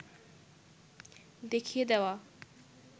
দেখিয়ে দেওয়া